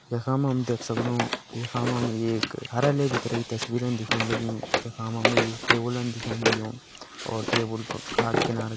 यखा मा हम देख सक्दु कि यखा मा हमि एक कार्यालय भितरे की तस्वीर दिखेण लगीं जखा मा हमि एक टेबलन दिखेण लग्युं और टेबल प-का किनारा --